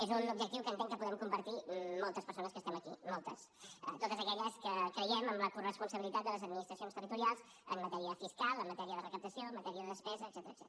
és un objectiu que entenc que podem compartir moltes persones que estem aquí moltes totes aquelles que creiem en la coresponsabilitat de les administracions territorials en matèria fiscal en matèria de recaptació en matèria de despesa etcètera